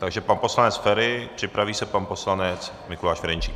Takže pan poslanec Feri, připraví se pan poslanec Mikuláš Ferjenčík.